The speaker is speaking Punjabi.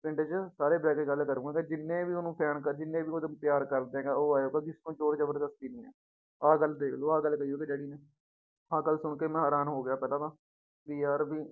ਪਿੰਡ ਚ ਸਾਰੇ ਬਹਿ ਕੇ ਗੱਲ ਕਰੂੰਗਾ ਤੇ ਜਿੰਨੇ ਵੀ ਉਹਨੂੰ fan ਆ ਜਿੰਨੇ ਵੀ ਉਹਦੇ ਪਿਆਰ ਕਰਦੇ ਹੈ ਉਹ ਆਇਓ ਵੀ ਜ਼ੋਰ ਜ਼ਬਰਦਸਤੀ ਨੀ ਹੈ ਆਹ ਗੱਲ ਦੇਖ ਲਓ ਆਹ ਗੱਲ ਕਹੀ ਉਹਦੇ daddy ਨੇ, ਆਹ ਗੱਲ ਸੁਣ ਕੇ ਮੈਂ ਹੈਰਾਨ ਹੋ ਗਿਆ ਪਹਿਲਾਂ ਤਾਂ ਵੀ ਯਾਰ ਵੀ